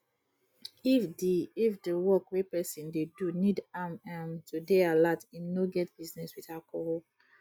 if di if di work wey person dey do need am um to dey alert im no get business with alcohol